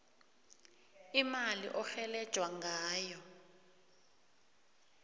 imali orhelejwa ngayo